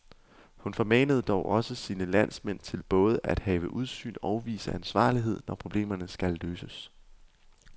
Hun formanede dog også sine landsmænd til både at have udsyn og vise ansvarlighed, når problemerne skal løses.